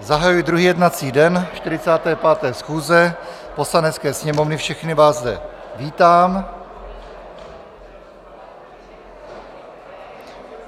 zahajuji druhý jednací den 45. schůze Poslanecké sněmovny, všechny vás zde vítám.